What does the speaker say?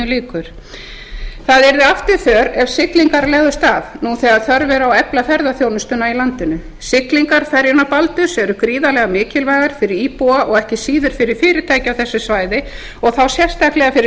sjö það yrði afturför ef siglingar legðust af nú þegar þörf er á að efla ferðaþjónustuna í landinu siglingar ferjunnar baldurs eru gríðarlega mikilvægar fyrir íbúa og ekki síður fyrir fyrirtæki á þessu svæði og þá sérstaklega fyrir